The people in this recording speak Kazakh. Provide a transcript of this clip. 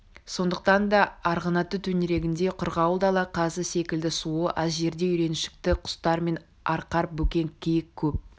сондықтан да арғынаты төңірегінде қырғауыл дала қазы секілді суы аз жерде үйреншікті құстар мен арқар бөкен киік көп